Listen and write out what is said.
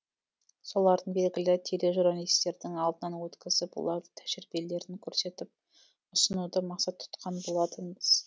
соларды белгілі тележурналистердің алдынан өткізіп олардың тәжірибелерін көрсетіп ұсынуды мақсат тұтқан болатынбыз